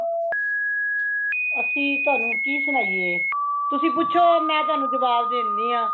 ਅਸੀ ਤੁਹਾਨੂੰ ਕੀ ਸੁਣਾਈਏ , ਤੁਸੀਂ ਪੁਛੋ ਮੇ ਤੁਹਾਨੂੰ ਜਵਾਬ ਦੇਣੀ ਹਾਂ